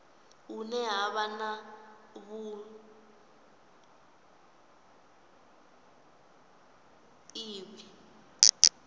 hune ha vha na vhuiivhi